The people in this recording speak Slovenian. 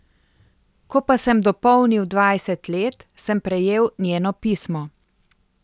Ko pa sem dopolnil dvajset let, sem prejel njeno pismo.